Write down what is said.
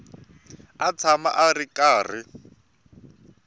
a tshama a ri karhi